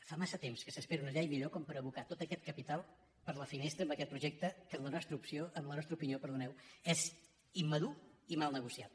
fa massa temps que s’espera una llei millor com per abocar tot aquest capital per la finestra amb aquest projecte que en la nostra opinió és immadur i mal negociat